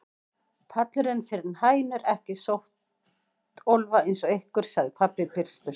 Pallurinn er fyrir hænur, ekki slöttólfa eins og ykkur, sagði pabbi byrstur.